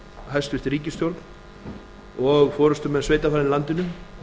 hæstvirt ríkisstjórn og forustumenn sveitarfélaganna í landinu